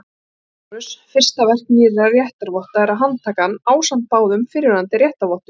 LÁRUS: Fyrsta verk nýrra réttarvotta er að handtaka hann ásamt báðum fyrrverandi réttarvottum.